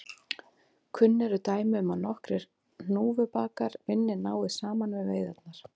Kunn eru dæmi um að nokkrir hnúfubakar vinni náið saman við veiðarnar.